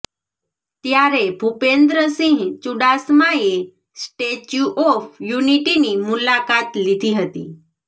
ત્યારે ભૂપેન્દ્રસિંહ ચૂડાસમાએ statue of યુનિટિની મુલાકાત લીધી હતી